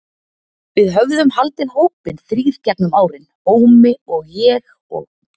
Við höfðum haldið hópinn þrír gegnum árin, Ómi og ég og